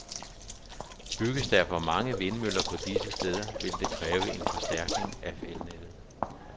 Bygges der for mange vindmøller på disse steder, vil det kræve en forstærkning af elnettet.